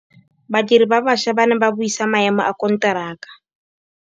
Badiri ba baša ba ne ba buisa maêmô a konteraka.